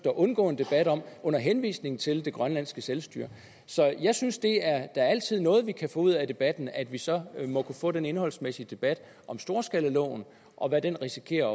at undgå en debat om under henvisning til det grønlandske selvstyre så jeg synes at det da altid er noget at vi kan få det ud af debatten at vi så må kunne få den indholdsmæssige debat om storskalaloven og hvad den risikerer